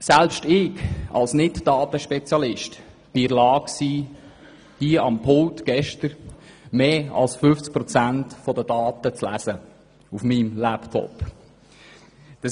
Selbst ich als Nicht-Datenspezialist war gestern hier am Pult in der Lage, mehr als 50 Prozent der Daten auf meinem Laptop zu lesen.